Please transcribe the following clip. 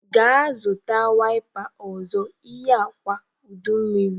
Gaa zụta wipa ọzọ. Ihe a kwa udummiri!